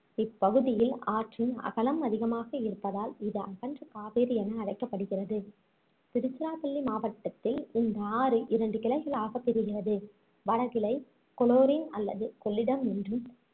இப்பகுதியில் ஆற்றின் அகலம் அதிகமாக இருப்பதால் இது அகன்ற காவேரி என அழைக்கப்படுகிறது திருச்சிராப்பள்ளி மாவட்டத்தில் இந்த ஆறு இரண்டு கிளைகளாக பிரிகிறது வடகிளை கொலோரின் அல்லது கொள்ளிடம் என்றும்